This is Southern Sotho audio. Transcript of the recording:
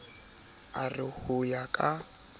a re ho ya ka